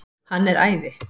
Hann er æði.